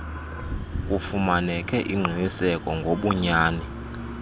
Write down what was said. kufumaneke ingqiniseko ngobunyani